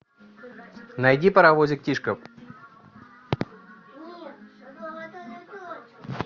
найди паровозик тишка